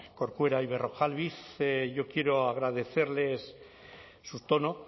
corcuera y berrojalbiz yo quiero agradecerles su tono